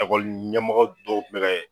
Ekɔli ɲɛmɔgɔ dɔw